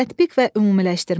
Tətbiq və ümumiləşdirmə.